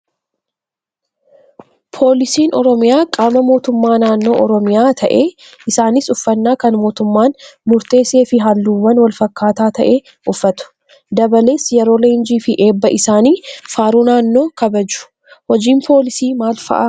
Poolisiin oromiyaa qaama mootummaa naannoo oromiyaa ta'ee Isaanis uffannaa kan mootummaan murteessee fi halluuwwan wal fakkaataa ta'e uffatu. Dabalees yeroo leenjii fi eebba isaanii faaruu naannoo kabaju. Hojiin poolisii maal fa'aa?